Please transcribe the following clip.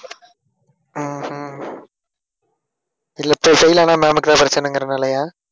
ஆஹ் அஹ் இல்லை இப்போ செய்யலைன்னா ma'am க்குதான் பிரச்சனைங்கிறனாலயா?